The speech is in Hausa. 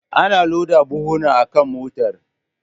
Ana loda buhuna akan motar.